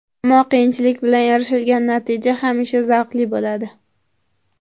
Ammo qiyinchilik bilan erishilgan natija hamisha zavqli bo‘ladi.